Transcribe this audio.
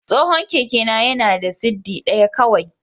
Tsohon kekena yana da siddi ɗaya kawai.